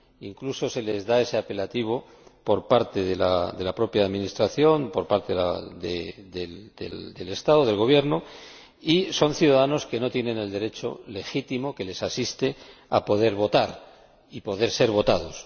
Incluso se les da ese apelativo por parte de la propia Administración, por parte del Estado, del Gobierno, y son ciudadanos que no tienen el derecho legítimo que les asiste de poder votar y poder ser votados.